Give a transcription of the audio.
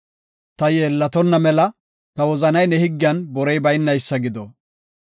Ta yeellatonna mela, ta wozanay ne higgiyan borey baynaysa gido.